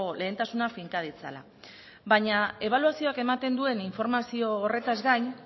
lehentasuna finka ditzala baina ebaluazioak ematen duen informazio horretaz gain